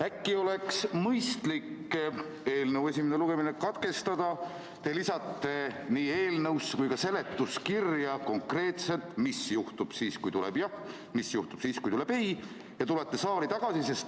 Äkki oleks mõistlik eelnõu esimene lugemine katkestada, siis te lisate nii eelnõusse kui ka seletuskirja konkreetselt, mis juhtub siis, kui tuleb jah, mis juhtub siis, kui tuleb ei, ja tulete saali tagasi.